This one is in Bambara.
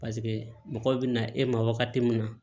Paseke mɔgɔw bɛ na e ma wagati min na